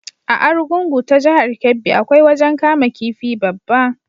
A Arugungun ta jahar Kebbi, akwai wajen kama kifi babba.